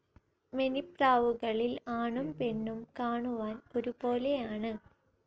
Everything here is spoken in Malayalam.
മെനിപ്രാവുകളിൽ ആണും പെണ്ണും കാണുവാൻ ഒരുപോലെയാണ്